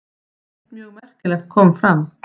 Eitt mjög merkilegt kom fram.